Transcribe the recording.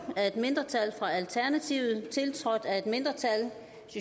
af et mindretal tiltrådt af et mindretal